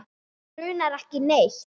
Okkur grunar ekki neitt.